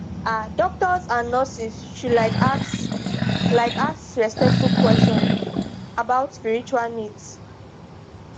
ah doctors and nurses should like ask like ask respectful questions about spiritual needs